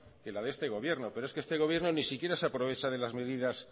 que la de este gobierno pero es que este gobierno ni siquiera se aprovecha de las medidas